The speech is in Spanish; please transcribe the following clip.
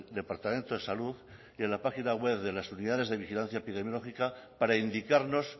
departamento de salud y en la página web de las unidades de vigilancia epidemiológica para indicarnos